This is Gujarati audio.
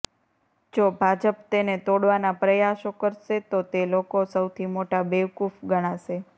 જો ભાજપ તેને તોડવાના પ્રયાસો કરશે તો તે લોકો સૌથી મોટા બેવકુફ ગણાશે